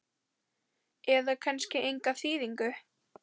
eða kannski enga þýðingu?